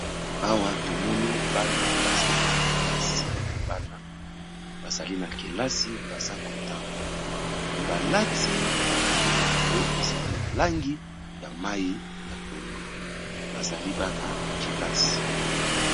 Awa tomoni bana bazali na kelasi, bana bazali na kelasi baza kotanga. Mais ba lati ba tenue na bango ezali na langi ya mayi ya pondu, bazali bana kelasi.